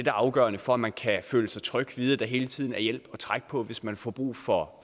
er afgørende for at man kan føle sig tryg og vide at der hele tiden er hjælp at trække på hvis man får brug for